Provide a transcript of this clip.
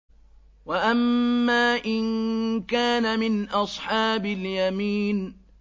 وَأَمَّا إِن كَانَ مِنْ أَصْحَابِ الْيَمِينِ